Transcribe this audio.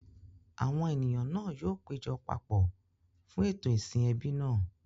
Àwọn ènìyàn náà yóò péjọ papọ̀ fún ètò ìsìn ẹbí náà.